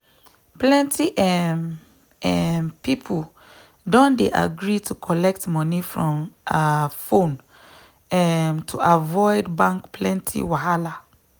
plenty um um people don dey agree to collect money from um phone um to avoid bank plenty wahala.